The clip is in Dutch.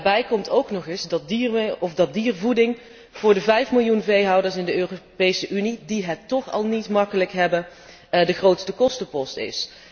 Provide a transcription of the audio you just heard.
Daarbij komt ook nog eens dat diervoeding voor de vijf miljoen veehouders in de Europese Unie, die het toch al niet gemakkelijk hebben, de grootste kostenpost is.